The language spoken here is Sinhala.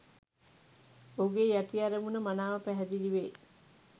ඔහුගේ යටි අරමුණ මනාව පැහැදිලිවේ.